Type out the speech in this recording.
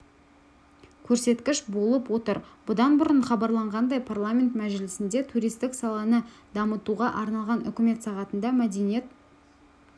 көрсеткіш болып отыр бұдан бұрын хабарланғандай парламент мәжілісінде туристік саланы дамытуға арналған үкімет сағатында мәдениет